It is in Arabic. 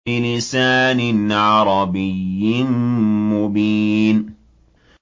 بِلِسَانٍ عَرَبِيٍّ مُّبِينٍ